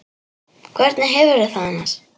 Hvernig hefurðu það annars?